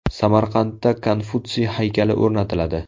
Samarqandda Konfutsiy haykali o‘rnatiladi.